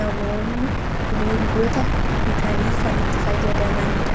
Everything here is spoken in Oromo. namoonni bineeldota bitanii kanitti fayyadamaniidha